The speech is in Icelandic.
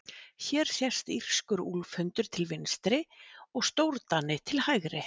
hér sést írskur úlfhundur til vinstri og stórdani til hægri